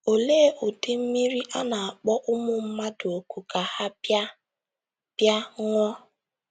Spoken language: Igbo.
Olee ụdị mmiri a na - akpọ ụmụ mmadụ òkù ka ha “ bịa ” bịa ” ṅụọ?